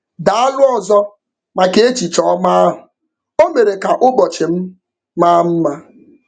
Daalụ ọzọ maka echiche ọma ahụ, o mere ka ụbọchị m maa mma.